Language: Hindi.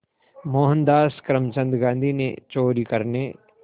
मोहनदास करमचंद गांधी ने चोरी करने